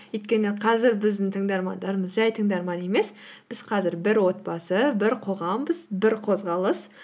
өйткені қазір біздің тыңдармандарымыз жай тыңдарман емес біз қазір бір отбасы бір қоғамбыз бір қозғалыс